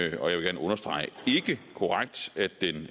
ikke og jeg vil gerne understrege